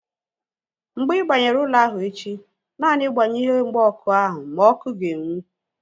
Mgbe ị banyere ụlọ ahụ echi, naanị gbaghee ihe mgba ọkụ ahu ma ọkụ ga-enwu